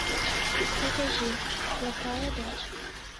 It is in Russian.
покажи плохая дочь